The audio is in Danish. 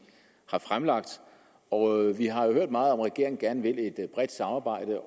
har fremsat og vi har jo hørt meget om at regeringen gerne vil et bredt samarbejde